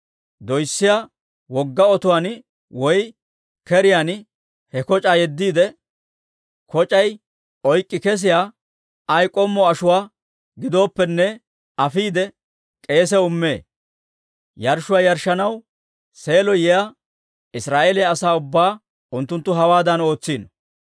doyssiyaa wogga otuwaan woy keriyaan he koc'aa yeddiide, koc'ay oyk'k'i kessiyaa ay k'ommo ashuwaa giddooppene afiide, k'eesiyaw immee. Yarshshuwaa yarshshanaw Seelo yiyaa Israa'eeliyaa asaa ubbaa unttunttu hawaadan ootsiino.